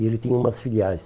E ele tinha umas filiais.